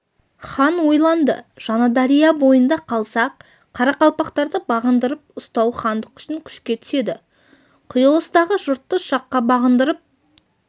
хан ойланды жаңадария бойында қалса қарақалпақтарды бағындырып ұстау хандық үшін күшке түседі құйылыстағы жұртты шаққа бағындырып